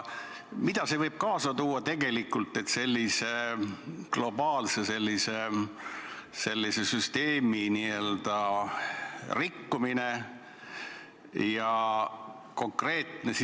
Mida võib sellise globaalse süsteemi nii-öelda rikkumine kaasa tuua?